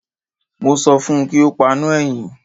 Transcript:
Mo sọ fún un kí ó paná ẹ̀yìn.